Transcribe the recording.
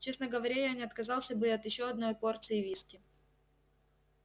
честно говоря я не отказался бы от ещё одной порции виски